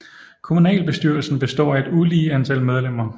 Kommunalbestyrelsen består af et ulige antal medlemmer